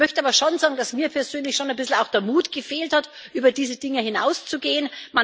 Ich möchte aber schon sagen, dass mir persönlich schon ein bisschen auch der Mut gefehlt hat, über diese Dinge hinauszugehen.